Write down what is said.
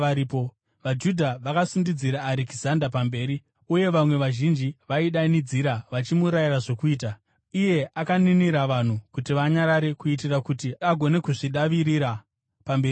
VaJudha vakasundidzira Arekizanda mberi, uye vamwe vazhinji vaidanidzira vachimurayira zvokuita. Akaninira vanhu kuti vanyarare kuitira kuti agone kuzvidavirira pamberi pavanhu.